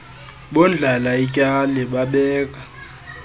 bondlala ityali babeka